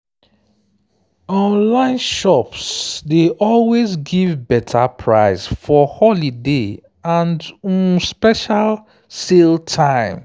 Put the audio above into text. online shops dey always give better price for holiday and um special sale time.